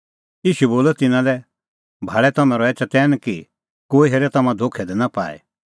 ईशू बोलअ तिन्नां लै भाल़ै तम्हैं रहै चतैन कि कोई हेरे तम्हां धोखै दी नां पाए